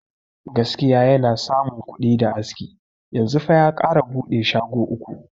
Gaskiya yana samu kuɗi da aski, yanzu fa ya kara bude shago uku.